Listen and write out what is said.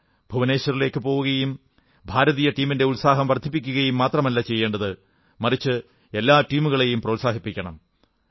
ഭുവനേശ്വറിലേക്കുപോവുകയും ഭാരതീയ ടീമിന്റെ ഉത്സാഹം വർധിപ്പിക്കുകയും മാത്രമല്ല ചെയ്യേണ്ടത് മറിച്ച് എല്ലാ ടീമുകളെയും പ്രോത്സാഹിപ്പിക്കണം